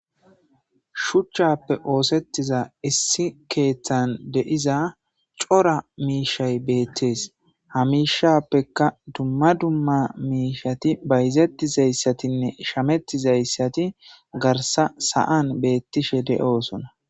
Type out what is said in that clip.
shuchchappe oosettiza issi keeththan deiza cora miishay beettees hamishappekka dumma dumma miishati bayzattizayssatinne shamettizayssati garsa sa7an beettishe de7oosona